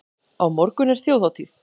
Á morgun er þjóðhátíð.